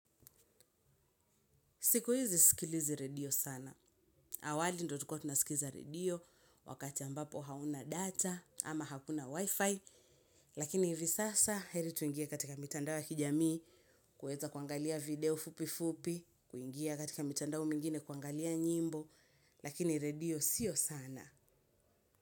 Siku hizi sisikilizi redio sana. Awali ndio tulikuwa tunasikiza redio, wakati ambapo hauna data, ama hakuna wifi, lakini hivi sasa heri tuingie katika mitandao wa kijamii, kuweza kuangalia video fupi fupi, kuingia katika mitandao mengine kuangalia nyimbo, lakini redio sio sana.